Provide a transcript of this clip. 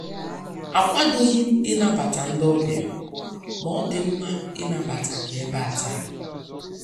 Akwadoghị m ịnabata ndị ọbịa, ma ọ dị mma inabata gị ebe a taa.